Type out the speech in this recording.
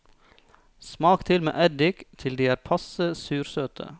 Smak til med eddik til de er passe sursøte.